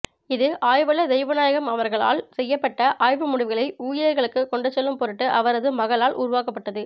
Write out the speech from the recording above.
இது ஆய்வளர் தெய்வநாயகம் அவர்களால் செயப்பட்ட ஆய்வுமுடிவுகளை ஊழியர்களுக்குக் கொண்டுசெல்லும்பொருட்டு அவரது மகளால் உருவாக்கப்பட்டது